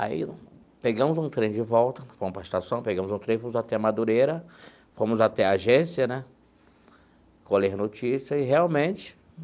Aí, pegamos um trem de volta, fomos para a estação, pegamos um trem, fomos até Madureira, fomos até a agência né, colher notícias e, realmente.